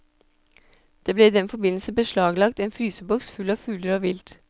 Det ble i den forbindelse beslaglagt en fryseboks full av fugler og vilt.